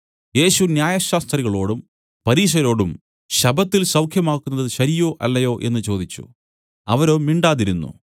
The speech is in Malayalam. യേശു ന്യായശാസ്ത്രികളോടും പരീശരോടും ശബ്ബത്തിൽ സൌഖ്യമാക്കുന്നത് ശരിയോ അല്ലയോ എന്നു ചോദിച്ചു അവരോ മിണ്ടാതിരുന്നു